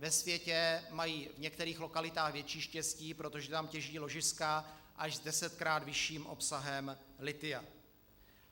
Ve světě mají v některých lokalitách větší štěstí, protože tam těží ložiska až s desetkrát vyšším obsahem lithia.